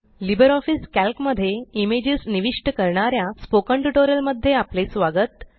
Libre office Calc मध्ये images निविष्ट करणाऱ्या स्पोकन ट्यूटोरियल मध्ये आपले स्वागत